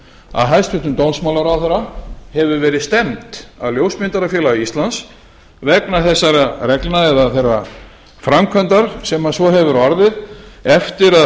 að hæstvirtur dómsmálaráðherra hefur verið stefnt af ljósmyndarafélag íslands vegna þessara reglna eða þeirrar framkvæmdar sem svo hefur orðið eftir að